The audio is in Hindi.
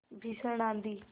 भीषण आँधी